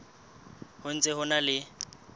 ho ntse ho na le